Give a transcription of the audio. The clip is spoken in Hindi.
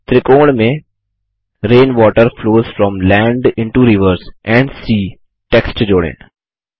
त्रिकोण में rain water flows from land into rivers and S E A text जोड़ें